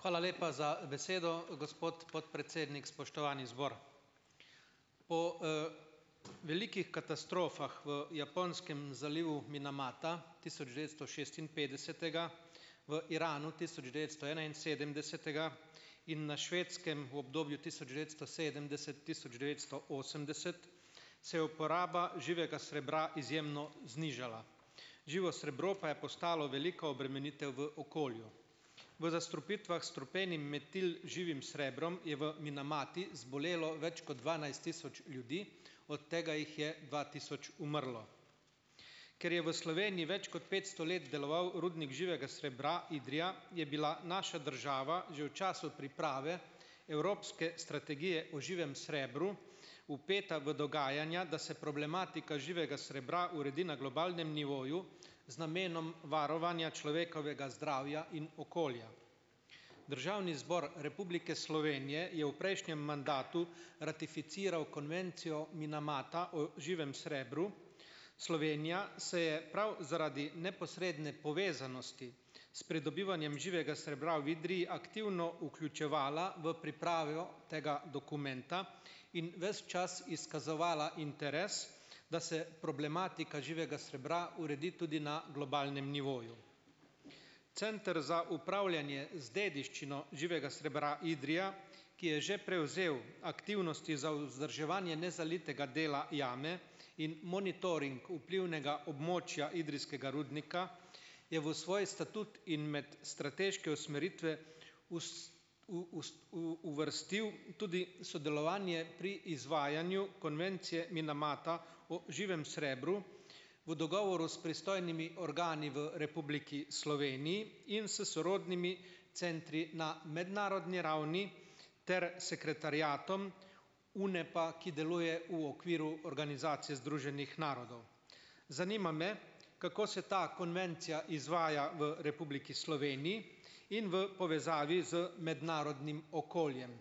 Hvala lepa za besedo, gospod podpredsednik. Spoštovani zbor, po, velikih katastrofah v Japonskem zalivu Minamata tisoč devetsto šestinpetdesetega, v Iranu tisoč devetsto enainsedemdesetega in na Švedskem v obdobju tisoč devetsto sedemdeset-tisoč devetsto osemdeset se je uporaba živega srebra izjemno znižala. Živo srebro pa je postalo velika obremenitev v okolju. V zastrupitvah s strupenim metil živim srebrom je v Minamati zbolelo več kot dvanajst tisoč ljudi, od tega jih je dva tisoč umrlo. Ker je v Sloveniji več kot petsto let deloval rudnik živega srebra Idrija, je bila naša država že v času priprave evropske strategije o živem srebru vpeta v dogajanja, da se problematika živega srebra uredi na globalnem nivoju z namenom varovanja človekovega zdravja in okolja. Državni zbor Republike Slovenije je v prejšnjem mandatu ratificiral konvencijo Minamata o živem srebru, Slovenija se je prav zaradi neposredne povezanosti s pridobivanjem živega srebra v Idriji aktivno vključevala v pripravo tega dokumenta in ves čas izkazovala interes, da se problematika živega srebra uredi tudi na globalnem nivoju. Center za upravljanje z dediščino živega srebra Idrija, ki je že prevzel aktivnosti za vzdrževanje nezalitega dela jame in monitoring vplivnega območja idrijskega rudnika, je v svoj statut in med strateške usmeritve uvrstil tudi sodelovanje pri izvajanju konvencije Minamata o živem srebru v dogovoru s pristojnimi organi v Republiki Sloveniji in s sorodnimi centri na mednarodni ravni ter sekretariatom, UNEP-a, ki deluje v okviru Organizacije združenih narodov. Zanima me, kako se ta konvencija izvaja v Republiki Sloveniji in v povezavi z mednarodnim okoljem.